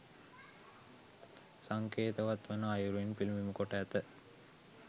සංකේතවත් වන අයුරින් පිළිබිඹු කොට ඇත.